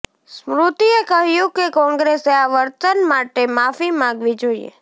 સ્મૃતિએ કહ્યું કે કોંગ્રેસે આ વર્તન માટે માફી માગવી જોઈએ